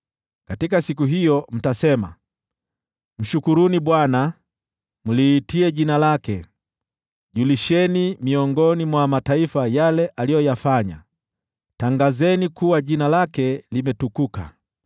Katika siku hiyo mtasema: “Mshukuruni Bwana , mliitie jina lake; julisheni miongoni mwa mataifa yale aliyoyafanya, tangazeni kuwa jina lake limetukuka.